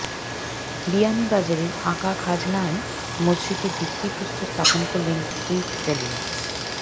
বিয়ানীবাজারে আকাখাজানায় মসজিদের ভিত্তি প্রস্তর স্থাপন করলেন হুইপ সেলিম